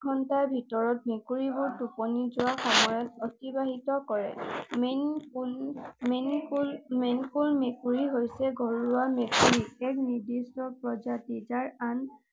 ঘণ্টাৰ ভিতৰত মেকুৰী বোৰ টোপনি যোৱা সময় অতিবাহিত কৰে। মেনকুল মেকুৰী হৈছে ঘৰুৱা মেকুৰী। ইয়াক নিৰ্দিষ্ট প্ৰজাতি যাক আন